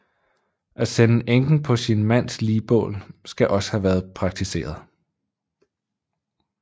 At sende enken på sin mands ligbål skal også have været praktiseret